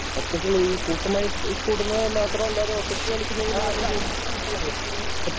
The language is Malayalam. ഒറ്റയ്ക്കുള്ള ഈ കൂട്ടമായി കൂടുന്നത് മാത്രമല്ലാതെ ഒറ്റയ്ക്ക് കളിക്കുന്നതിലും നമ്മൾ കൂടി